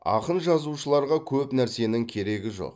ақын жазушыларға көп нәрсенің керегі жоқ